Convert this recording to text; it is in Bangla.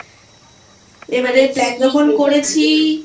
এবারে Plan যখন করেছি